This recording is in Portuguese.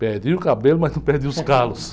Perdi o cabelo, mas não perdi os calos.